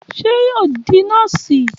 Ṣé yóò di nọ́ọ̀sì?